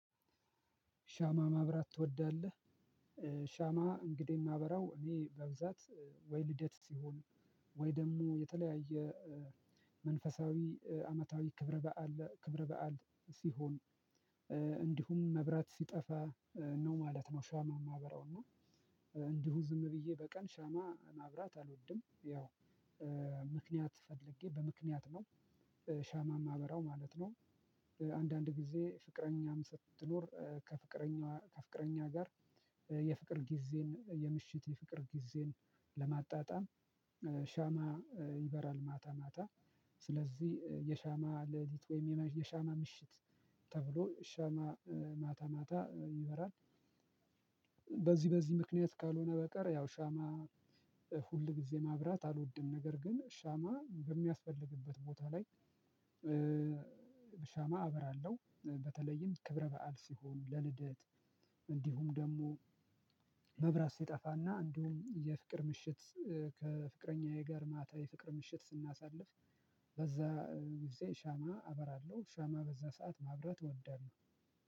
ሻማ ማብራት ትወዳለህ ሻማ እንግዲህ የማበራው እኔ በብዛት ወይ ልደት ሲሆን ወይ ደግሞ የተለያየ መንፈሳዊ አመታዊ ክብረ በዓል ክብረ በዓል ሲሆን እንዲሁም መብራት ሲጠፋ ነው ማለት ነው። ሻማ የማበራው እና እንዲሁ ዝም ብዬ በቀን ሻማ ማብራት አልወድም። ያው ምክንያት ፈልጌ በምክንያት ነው ሻማ ማበራው ማለት ነው። አንዳንድ ጊዜ ፍቅረኛም ስትኖር ከፍቅረኛዋ ከፍቅረኛ ጋር የፍቅር ጊዜን የምሽት የፍቅር ጊዜን ለማጣጣም ሻማ ይበራል። ማታ ማታ ስለዚህ የሻማ ለሊት ወይም የሻማ ምሽት ተብሎ ሻማ ማታ ማታ ይበራል። በዚህ በዚህ ምክንያት ካልሆነ በቀር ያው ሻማ ሁል ጊዜ ማብራት አልወድም። ነገር ግን ሻማ በሚያስፈልግበት ቦታ ላይ በሻማ አበራለሁ። በተለይም ክብረ በዓል ሲሆን ለልደት እንዲሁም ደግሞ መብራት ሲጠፋና እንዲሁም የፍቅር ምሽት ከፍቅረኛዬ ጋር ማታ የፍቅር ምሽት ስናሳልፍ በዛ ጊዜ ሻማ አበራለሁ። ሻማ በዛ ሰዓት ማብራት ወዳለው